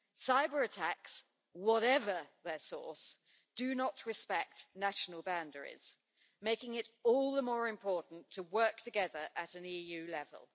Cyber-attacks, whatever their source, do not respect national boundaries, making it all the more important to work together at an EU level.